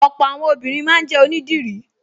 Ọ̀pọ̀ àwọn obìnrin máa ń jẹ́ onídìrí